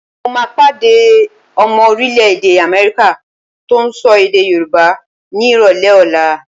Mo máa pàdé ọmọ orílẹ̀-èdè Amẹ́ríkà tó ń sọ èdè Yorùbá ni ìrọ̀lẹ́ ọ̀la.